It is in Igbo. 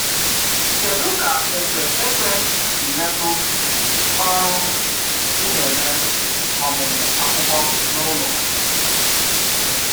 Kédú ka ékpè ekpé si metụ ọrụ ị na-eme ọmụmụ akwụkwọ n’ụlọ?